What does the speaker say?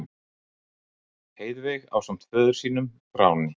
Heiðveig ásamt föður sínum, Þráni